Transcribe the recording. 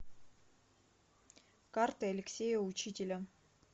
карты алексея учителя